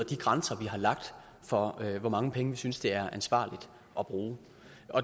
de grænser vi har lagt for hvor mange penge vi synes det er ansvarligt at bruge